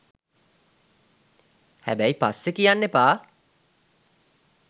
හැබැයි පස්සෙ කියන්න එපා